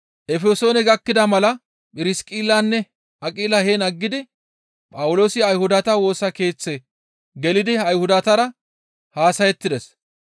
Efesoone gakkida mala Phirsiqillanne Aqila heen aggidi Phawuloosi Ayhudata Woosa Keeththe gelidi Ayhudatara haasayettides.